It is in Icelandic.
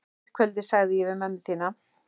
Eitt kvöldið sagði ég við mömmu þína: